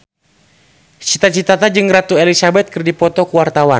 Cita Citata jeung Ratu Elizabeth keur dipoto ku wartawan